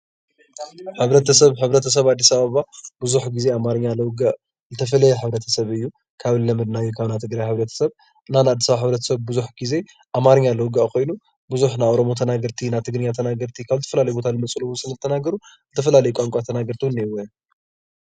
ሕ/ሰብ ሕ/ሰብ ኣዲስ ኣበባ ብዙሕ ግዜ ኣማርኛ ዘውግዕ ዝተፈለ ሕ/ሰብ እዩ፡፡ ካብ ዝለመድናዮ ካብ ናይ ትግራይ ሕ/ሰብ እና ናይ ኣዲስ ኣበባ ሕ/ሰብ ብዙሕ ግዜ ኣማርኛ ዘውግዕ ኮይኑ ብዙሕ ናይ ኦሮሞ ተናገርቲ ፣ ናይ ትግርኛ ተናገርቲ ካብ ዝተፈላለዩ ቦታ ዝመፁ ዝተፈላለየ ቋንቋ ተናገርቲ ዉን እነእዉዎ እዮም፡፡